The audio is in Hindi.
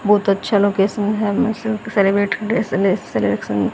बहुत अच्छा लोकेशन है --